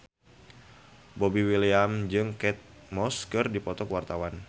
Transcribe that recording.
Boy William jeung Kate Moss keur dipoto ku wartawan